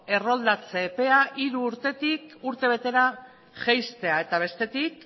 erroldatze epea hiru urtetik urtebetera jaistea eta bestetik